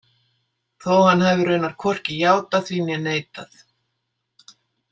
Þó að hann hafi raunar hvorki játað því né neitað.